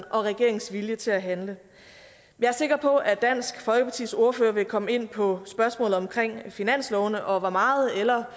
og regeringens vilje til at handle jeg er sikker på at dansk folkepartis ordfører vil komme ind på spørgsmålet omkring finanslovene og hvor meget eller